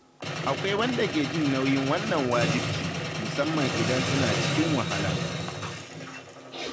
Akwai wanda ke jin nauyin wannan wajibci, musamman idan suna cikin wahala.